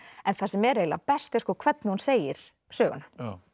en það sem er eiginlega best er hvernig hún segir söguna